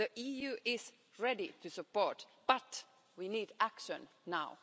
The EU is ready to support but we need action now.